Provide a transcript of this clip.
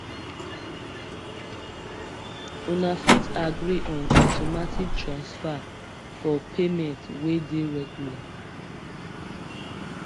una fit agree on automatic transfer for payment wey dey regular